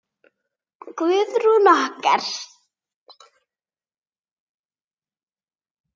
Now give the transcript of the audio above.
Guðrún okkar!